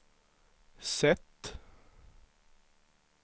sätt